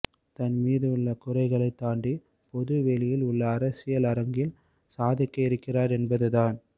தன் மீது உள்ள குறைகளை தாண்டி பொதுவெளியில் உள்ள அரசியல் அரங்கில் சாதிக்க இருக்கிறார் என்பது தான்